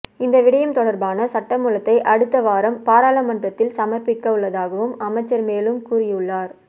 இந்த விடயம் தொடர்பான சட்டமூலத்தை அடுத்த வாரம் பாராளுமன்றத்தில் சமர்ப்பிக்கவுள்ளதாகவும் அமைச்சர் மேலும் கூறியுள்ளார்